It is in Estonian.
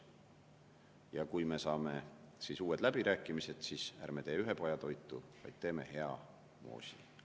Ja kui me saame uued läbirääkimised, siis ärme teeme ühepajatoitu, vaid teeme hea moosi.